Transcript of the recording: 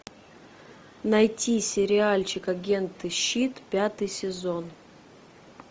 найти сериальчик агенты щит пятый сезон